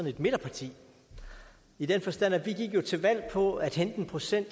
et midterparti i den forstand at vi jo gik til valg på at hente en procent